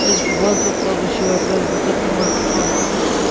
تٔمۍ چھ وۄزلہِ کلرٕچ شٲٹۍ لٲجمٕژتٔمہِ سٕنٛدِ مستُک رنٛگ تہِ چُھ کرٛہن